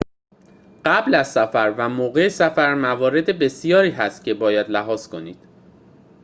قبل از سفر و موقع سفر موارد بسیاری هست که باید لحاظ کنید